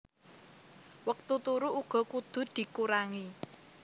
Wektu turu uga kudu dikurangi